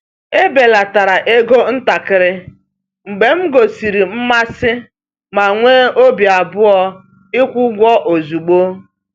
Ebelatara ego ntakịrị mgbe m gosiri mmasị ma nwee obi abụọ ịkwụ ụgwọ ozugbo.